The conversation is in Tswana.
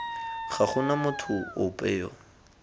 ga gona motho ope yo